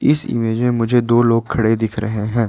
इस इमेज में मुझे दो लोग खड़े दिख रहे है।